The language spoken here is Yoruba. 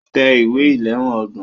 Tẹ ìwé ìléwọ́ ọgbọ̀n.